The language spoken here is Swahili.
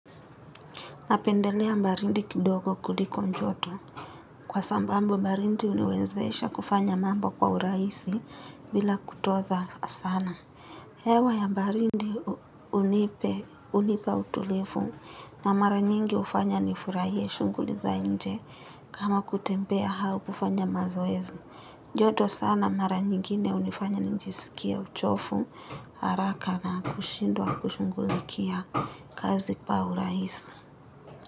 Napendelea mbarindi kidogo kuliko njoto. Kwa sambambu mbarindi uniwezesha kufanya mambo kwa uraisi vila kutoza sana. Hewa ya mbarindi unipe, unipa utulifu na mara nyingi ufanya nifuraiye shunguli za nje kama kutembea hau kufanya mazoezi. Joto sana mara nyingine unifanya njisikie uchofu, haraka na kushindwa kushungulikia kazi kwa uraisi.